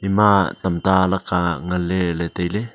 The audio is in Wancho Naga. ema tamta lakka ngan ley ley tai ley